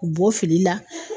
K'bɔ filiu la